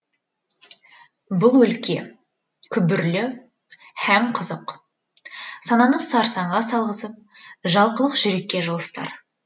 бұл өлке күбірлі һәм қызық сананы сарсаңға салғызып жалқылық жүрекке жылыстар